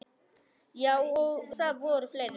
Já, og það voru fleiri.